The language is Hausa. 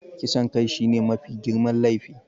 Kisan kai shine mafi girman laifi.